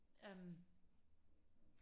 øhm